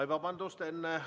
Oi, vabandust!